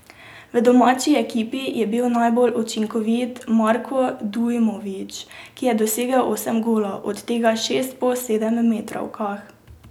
V domači ekipi je bil najbolj učinkovit Marko Dujmovič, ki je dosegel osem golov, od tega šest po sedemmetrovkah.